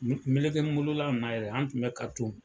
Mele melekɛ n molola in na yɛrɛ, an tun mɛ ka tun